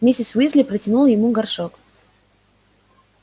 миссис уизли протянула ему горшок